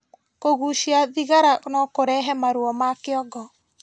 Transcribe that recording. Kũgucia thigara nokũrehe maruo ma kĩongo